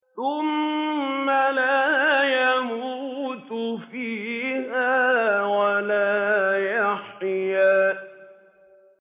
ثُمَّ لَا يَمُوتُ فِيهَا وَلَا يَحْيَىٰ